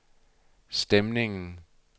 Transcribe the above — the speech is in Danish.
stemningen